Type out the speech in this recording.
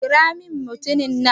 kira min mutumin!